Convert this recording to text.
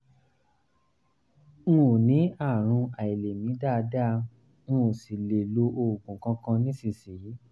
n ò ní àrùn àìlèmí dáadáa mi ò sì ń lo oògùn kankan nísinsìnyí